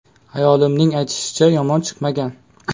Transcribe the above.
Ayolimning aytishicha, yomon chiqmagan.